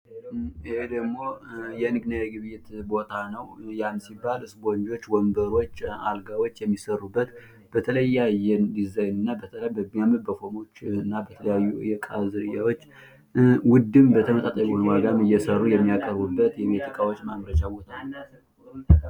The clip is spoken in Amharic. ይሄ ደግሞ የንግድና የግብይት ቦታ ነው። ያሉት ደግሞ ው ወንበሮች፣ አልጋወች የሚሰሩበት በተለያየ ዲዛይንና የተለያዩ እቃዎችን በተመጣጣኝ ዋጋ እየሰሩ የሚያቀርቡበት የእቃዎች ማምረቻ ቦታ ነው።